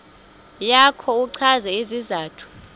yakho uchaze isizathu